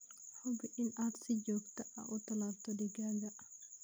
Hubi inaad si joogto ah u tallaalto digaaggaaga.